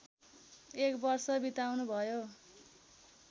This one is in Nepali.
एक वर्ष बिताउनुभयो